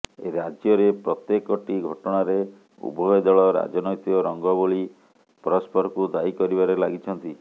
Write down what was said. ରାଜ୍ୟରେ ପ୍ରତ୍ୟେକଟି ଘଟଣାରେ ଉଭୟ ଦଳ ରାଜନୈତିକ ରଙ୍ଗ ବୋଳି ପରସ୍ପରକୁ ଦାୟୀ କରିବାରେ ଲାଗିଛନ୍ତି